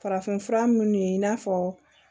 Farafinfura minnu ye i n'a fɔ